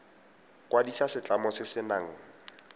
kwadisa setlamo se se nang